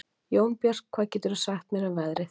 Jónbjört, hvað geturðu sagt mér um veðrið?